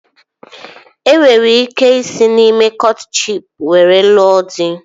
Ị nwere ike isi na ime kọtshịp were lụọ dị